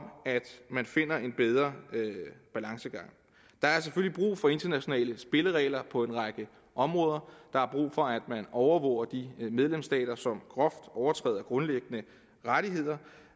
man finder en bedre balance der er selvfølgelig brug for internationale spilleregler på en række områder der er brug for at man overvåger de medlemsstater som groft overtræder grundlæggende rettigheder